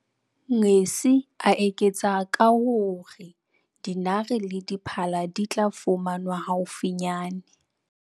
Ngesi, a eketsa ka ho re dinare le diphala di tla fumanwa haufinyane.